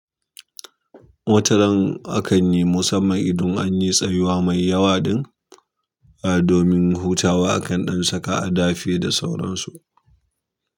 Wataran akan yi musamman idan an yi tsayuwa mai yawa don domin hutawa akan ɗan saka a dafe da sauransu.